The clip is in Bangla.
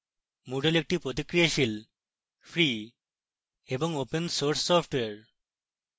moodle একটি প্রতিক্রিয়াশীল free এবং open source সফ্টওয়্যার